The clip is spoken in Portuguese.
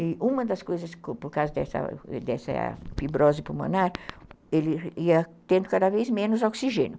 E uma das coisas, por causa dessa dessa fibrose pulmonar, ele ia tendo cada vez menos oxigênio.